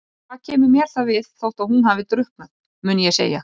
Og hvað kemur mér það við þótt hún hafi drukknað, mun ég segja.